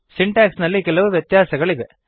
syntax ನಲ್ಲಿ ಕೆಲವು ವ್ಯತ್ಯಾಸಗಳಿವೆ